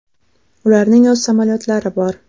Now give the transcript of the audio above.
Ularning o‘z samolyotlari bor.